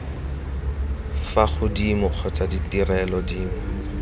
fa godimo kgotsa ditirelo dinngwe